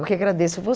Eu que agradeço